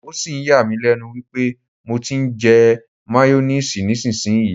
O sì ń yà mí lẹ́nu wípé mo ti ń jẹ máyónísiìsì nísinsìnyí.